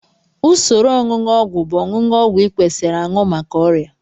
Usoro onunu ogwu bụ ọnụọgụ ọgwụ ị kwesiri aṅụ maka ọrịa